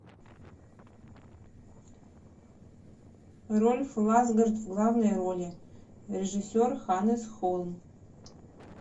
рольф лассгорд в главной роли режиссер ханнес холм